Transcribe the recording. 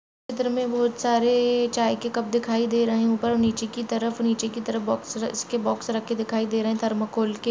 चित्र में बहुत सारे चाय के कप दिखाई दे रहे हैं ऊपर-नीचे की तरफ नीचे की तरफ इसके बॉक्स रखे दिखाई दे रहे है थरमाकोल के।